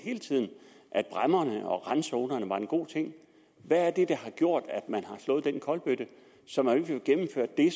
at bræmmerne og randzonerne var en god ting hvad er det der har gjort at man har slået den kolbøtte så man ikke vil gennemføre det